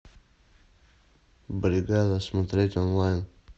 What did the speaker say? бригада смотреть онлайн